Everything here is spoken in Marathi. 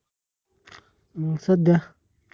मग सध्या?